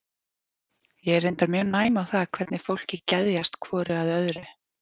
Ég er reyndar mjög næm á það hvernig fólki geðjast hvoru að öðru.